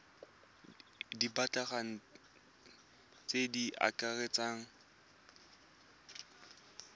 di batlegang tse di akaretsang